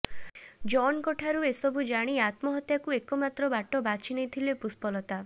ଜନ୍ଙ୍କଠାରୁ ଏସବୁ ଜାଣି ଆତ୍ମହତ୍ୟାକୁ ଏକ ମାତ୍ର ବାଟ ବାଛି ନେଇଥିଲେ ପୁଷ୍ପଲତା